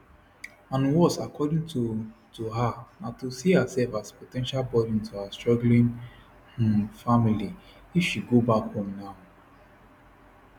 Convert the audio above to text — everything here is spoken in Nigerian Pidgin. and worse according to to her na to see herself as po ten tial burden to her struggling um family if she go back home now